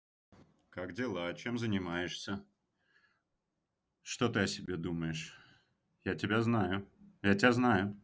как дела чем занимаешься что ты о себе думаешь я тебя знаю я тебя знаю